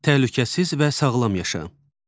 Təhlükəsiz və sağlam yaşa.